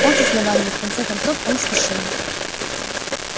он с основания и в конце концов он священник